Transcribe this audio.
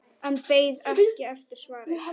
En beið ekki eftir svari.